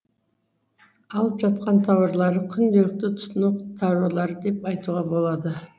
алып жатқан тауарлары күнделікті тұтыну тауарлары деп айтуға болады